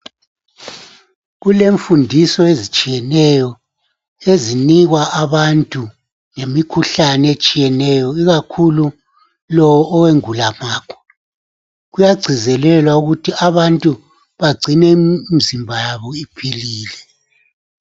Kulemfundiso ezitshiyeneyo ezinikwa abantu ngemikhuhlane etshiyeneyo ikakhulu lo owengulamakhwa kuyagcizelelwa ukuthi abantu bagcine imizimba yabo iphilile.